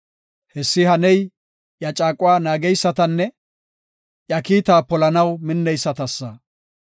Hessi haney iya caaquwa naageysatanne iya kiitaa polanaw minneysatasa.